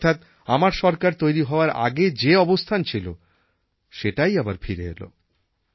অর্থাৎ আমার সরকার তৈরি হওয়ার আগে যে অবস্থান ছিল সেটাই আবার ফিরে এলো